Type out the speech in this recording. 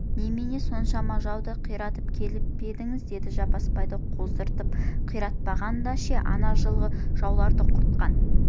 немене соншама жауды қиратып келіп пе едіңіз деді жаппасбайды қоздырып қиратпағанда ше ана жылғы жауларды құртқан